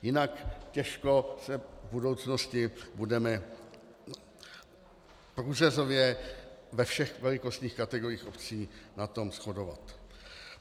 Jinak těžko se v budoucnosti budeme průřezově ve všech velikostních kategoriích obcí na tom shodovat.